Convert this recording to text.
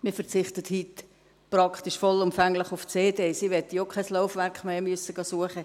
Man verzichtet heute praktisch vollumfänglich auf CDs – ich möchte auch kein Laufwerk mehr suchen gehen;